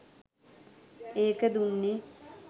ඒක දුන්නේ